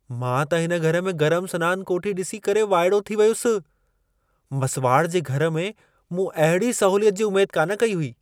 मां त हिन घर में गरम सनान कोठी ॾिसी करे वाइड़ो थी वियुसि। मसुवाड़ जे घर में मूं अहिड़ी सहूलियत जी उमेद कान कई हुई।